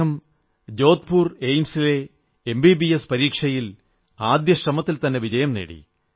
അദ്ദേഹം ജോധ്പുർ എയിംസിലെ എംബിബിഎസ് പരീക്ഷയിൽ ആദ്യ ശ്രമത്തിൽത്തന്നെ വിജയം നേടി